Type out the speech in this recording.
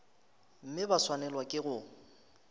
mme ba swanelwa ke go